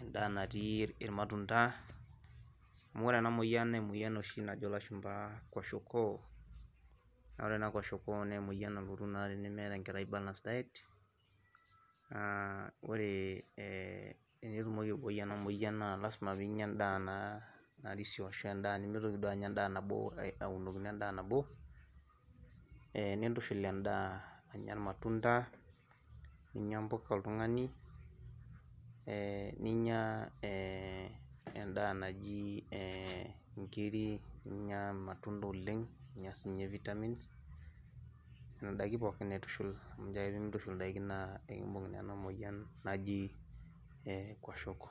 endaa natii iematunda amu ore amu ore enamoyian na emoyian oshi najo lashumba kwashiokoo na ore kwashiokoo na emoyian nalotu tenemeeta enkerai balance diet na ore etenetumoki aibooi enamoyia na lasima na pinya endaa narisio arashu endaab nimitoki duo anya endaa nabo aunokino endaabnabo nintushul endaa anya irmatunda ninya mpuka oltungani e ninya ebendaa naji nkirik ninnya irmatunda oleng, ninya since vitamins nona dakin pookin aitushul amu ncho ake pimintushul nona dakini na ekimbung' enamoyian naji kwashiokoo.